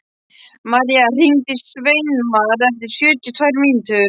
Marja, hringdu í Sveinmar eftir sjötíu og tvær mínútur.